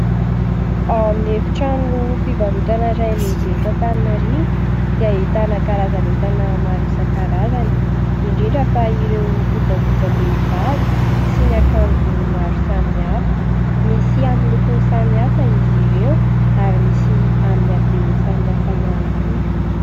Ao amin'ny efitrano fivarotana iray lehibe eto Antananarivo, dia ahitana karazan'entana maro isankarazany, indrindra fa ireo kojakojam-behivavy sy ny akanjo maro samihafa ; misy amin'ny lokony samihafa izy ireo ary misy amin'ny habeny samihafa ihany koa.